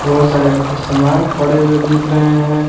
बहुत सारे सामान पड़े हुए दिख रहे हैं।